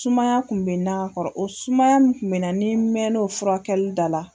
Sumaya tun bɛ na ka kɔrɔ, o sumaya tun bɛ na ni n mɛn'o furakɛli la.